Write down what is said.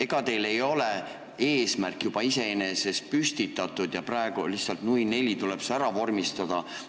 Ega teil ei ole eesmärk juba püstitatud ja praegu tuleb see lihtsalt, nui neljaks, ära vormistada?